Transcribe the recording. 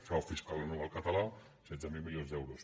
frau fiscal anual català setze mil milions d’euros